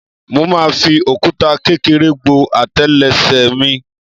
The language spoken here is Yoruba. Mo máa fi òkúta kékeré gbó àtélé ẹsẹ̀ mi.